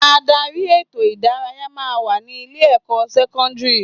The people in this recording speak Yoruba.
Ádárì ètò ìdárayá máa ń wà ní ilé ìwé sẹ́kọ́ńdírì.